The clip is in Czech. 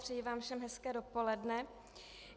Přeji vám všem hezké dopoledne.